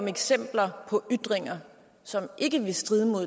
eksempler på ytringer som ikke strider mod